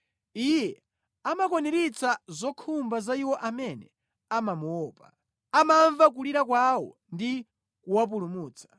Iye amakwaniritsa zokhumba za iwo amene amamuopa; amamva kulira kwawo ndi kuwapulumutsa.